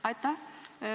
Aitäh!